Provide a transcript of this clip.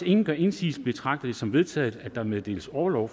ingen gør indsigelse betragter jeg det som vedtaget at der meddeles orlov